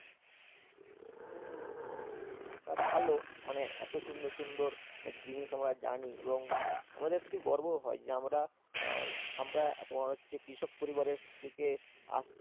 তা ভাল, মানে এত সুন্দর সুন্দর জিনিস আমরা জানি এবং আমাদের শুধু গর্বও হয় যে আমরা তোমার হচ্ছে কৃষক পরিবারের থেকে আহ